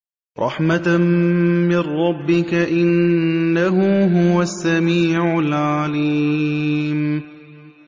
رَحْمَةً مِّن رَّبِّكَ ۚ إِنَّهُ هُوَ السَّمِيعُ الْعَلِيمُ